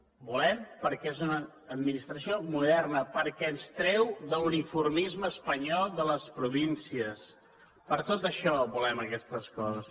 ho volem perquè és una administració moderna perquè ens treu de l’uniformisme espanyol de les províncies per tot això volem aquestes coses